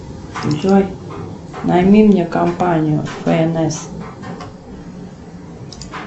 джой найми мне компанию фнс